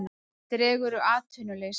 Dregur úr atvinnuleysi